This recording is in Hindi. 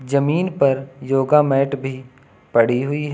जमीन पर योगा मैट भी पड़ी हुई--